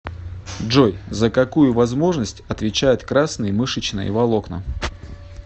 джой за какую возможность отвечают красные мышечные волокна